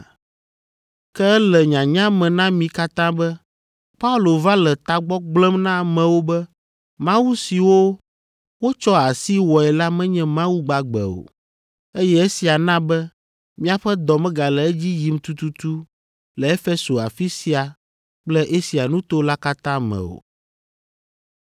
Ke ele nyanya me na mi katã be Paulo va le tagbɔ gblẽm na amewo be mawu siwo wotsɔ asi wɔe la menye mawu gbagbe o, eye esia na be míaƒe dɔ megale edzi yim tututu le Efeso afi sia kple Asia nuto la katã me o.